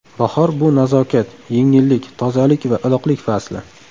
Bahor – bu nazokat, yengillik, tozalik va iliqlik fasli.